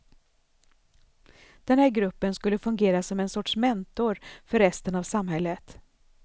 Den här gruppen skulle fungera som en sorts mentor för resten av samhället.